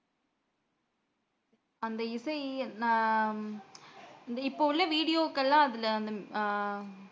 அந்த இசை நா இப்போ உள்ள video க்கள்ள அதுல அந்த ஹம்